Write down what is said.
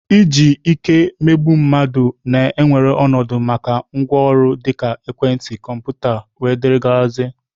Iji ike emegbu mmadụ na-ewere ọnọdụ maka ngwaọrụ dịka ekwentị, kọmputa wdg